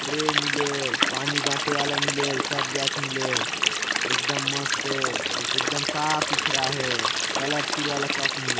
Trail मिले हे पानी बाटे वाला मिले हे सब जात मिले हे एकदम मस्त हे एक दम साफ़ सुथरा हे कलरफुल वाला कप मिले हे।